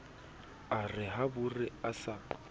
a re habore a sa